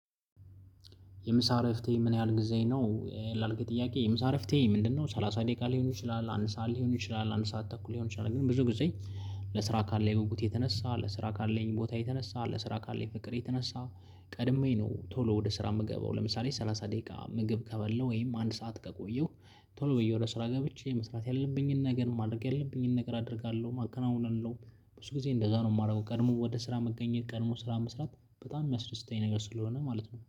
የምሳ እረፍቴ ምን ያህል ጊዜ ነው? ላልከው ጥያቄ የምሳ እረፍቴ ምንድነው ሰላሳ ደቂቃ ሊሆን ይችላል፣ አንድ ሰዓት ሊሆን ይችላል፣ አንድ ሰዓት ተኩል ሊሆን ይችላል ግን ብዙ ጊዜ ለስራ ካለኝ የጉጉት የተነሳ ለስራ ካለኝ ቦታ የተነሳ፣ ለስራ ካለኝ ፍቅር የተነሳ፣ ቀድሜ ነው ቶሎ ወደ ስራ የምገባው ለምሳሌ ሰላሳ ደቂቃ ምግብ ከበለው ወይም አንድ ሰዓት ከቆየሁ ቶሎ ብዬ ወደ ስራ ገብቼ መስራት ያለብኝን ነገር ማድረግ ያለብኝን ነገር አደርጋለሁ፣ አከናዉናለሁ ብዙ ጊዜ እንደዛ ነው የማደርገው ቀድሞ ወደ ስራ መገኘት ቀድሞ ስራ መስራት በጣም የሚያስደስተኝ ነገር ስለሆነ ማለት ነው።